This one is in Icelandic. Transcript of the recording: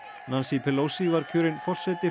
Pelosi var kjörin forseti